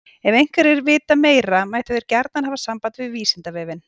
Ef einhverjir vita meira mættu þeir gjarnan hafa samband við Vísindavefinn.